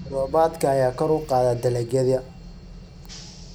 Xilli roobaadka ayaa kor u qaada dalagyada.